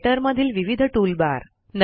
writer मधील विविध toolbar